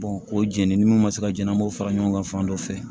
o jɛnini ni munnu ma se ka jɛnna an b'o fara ɲɔgɔn kan fan dɔ fɛ